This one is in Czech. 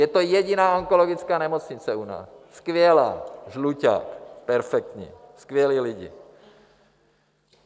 Je to jediná onkologická nemocnice u nás, skvělá, Žluťák, perfektní, skvělí lidé.